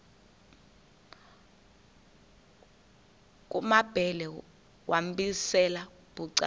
kumambhele wambizela bucala